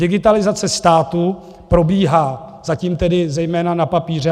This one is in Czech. Digitalizace státu probíhá zatím tedy zejména na papíře.